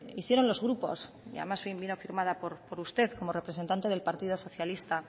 hicieron los grupos y además vino firmada por usted como representante del partido socialista